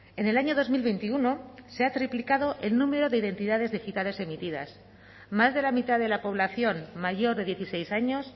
en el año dos mil veintiuno se ha triplicado el número de identidades digitales emitidas más de la mitad de la población mayor de dieciséis años